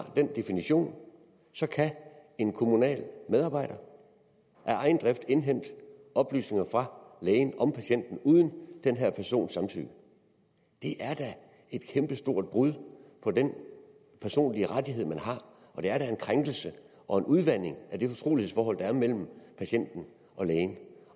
den definition så kan en kommunal medarbejder af egen drift indhente oplysninger fra lægen om patienten uden den her persons samtykke det er da et kæmpestort brud på den personlige rettighed man har og det er da en krænkelse og en udvanding af det fortrolighedsforhold der er mellem patienten og lægen